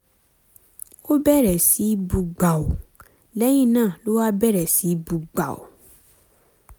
ó bẹ̀rẹ̀ sí í bú gbàù lẹ́yìn náà ló wá bẹ̀rẹ̀ sí í bú gbàù